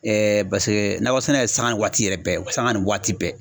paseke nakɔsɛnɛ ye sanŋa waati yɛrɛ bɛɛ sanŋa ni waati bɛɛ.